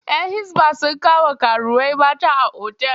‘Yan Hisba sun kama karuwai mata a otal.